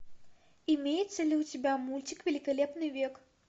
имеется ли у тебя мультик великолепный век